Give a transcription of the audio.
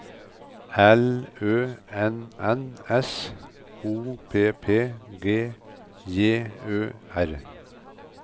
L Ø N N S O P P G J Ø R